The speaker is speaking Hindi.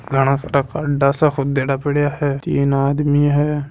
घाना सारा खड्डा सा खोदा पड़िया हे तीन आदमी है।